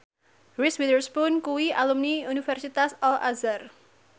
Reese Witherspoon kuwi alumni Universitas Al Azhar